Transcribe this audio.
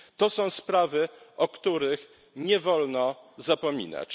Są to sprawy, o których nie wolno zapominać.